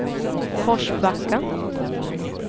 Forsbacka